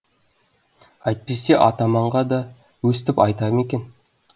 әйтпесе атаманға да өстіп айта ма екен